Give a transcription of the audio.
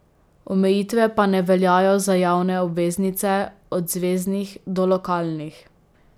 Omejitve pa ne veljajo za javne obveznice, od zveznih do lokalnih.